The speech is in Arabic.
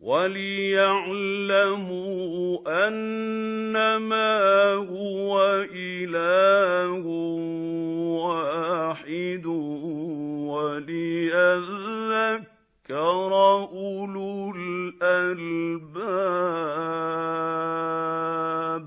وَلِيَعْلَمُوا أَنَّمَا هُوَ إِلَٰهٌ وَاحِدٌ وَلِيَذَّكَّرَ أُولُو الْأَلْبَابِ